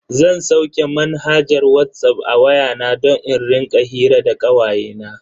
Zan sauke manhajar Whatsapp a waya na don in rika hira da kawayena.